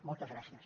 moltes gràcies